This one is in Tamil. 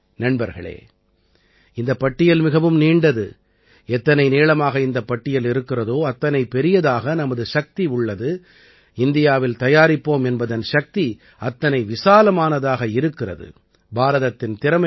நண்பர்களே இந்தப் பட்டியல் மிகவும் நீண்டது எத்தனை நீளமாக இந்தப் பட்டியல் இருக்கிறதோ அத்தனை பெரியதாக நமது சக்தி உள்ளது இந்தியாவில் தயாரிப்போம் என்பதன் சக்தி அத்தனை விசாலமானதாக இருக்கிறது பாரதத்தின் திறமைகள்